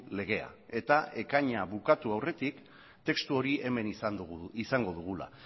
legea eta ekaina bukatu aurretik testu hori hemen izango dugula